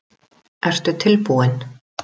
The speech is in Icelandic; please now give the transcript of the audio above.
Ertu tilbúinn?